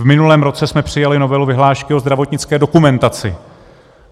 V minulém roce jsme přijali novelu vyhlášky o zdravotnické dokumentaci.